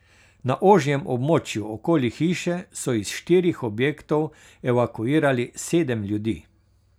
Na ožjem območju okoli hiše so iz štirih objektov evakuirali sedem ljudi.